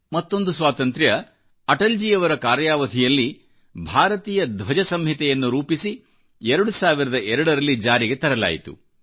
ಮತ್ತೊಂದು ಸ್ವಾತಂತ್ರ್ಯ ಅಟಲ್ಜಿಯವರ ಕಾರ್ಯಾವಧಿಯಲ್ಲಿ ಭಾರತೀಯ ಧ್ವಜ ಸಂಹಿತೆಯನ್ನು ರೂಪಿಸಿ 2002 ರಲ್ಲಿಜಾರಿಗೆ ತರಲಾಯಿತು